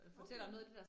Okay